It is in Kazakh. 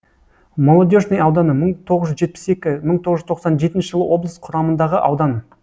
молодежный ауданы мың тоғыз жүз жетпіс екі мың тоғыз жүз тоқсан жетінші жылы облыс құрамындағы аудан